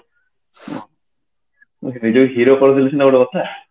hero hero କହିଲେ ସିନା ଗୋଟେ କଥା